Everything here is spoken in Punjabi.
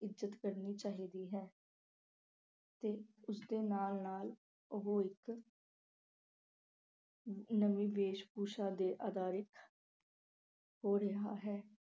ਇੱਜ਼ਤ ਕਰਨੀ ਚਾਹੀਦੀ ਹੈ ਤੇ ਉਸ ਦੇ ਨਾਲ-ਨਾਲ ਉਹ ਇੱਕ ਨਵੀਂ ਭੇਸਭੂਸ਼ਾ ਤੇ ਆਧਾਰਿਤ ਹੋ ਰਿਹਾ ਹੈ।